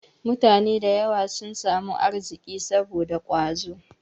Mutane da yawa sun samu arziki saboda ƙwazo.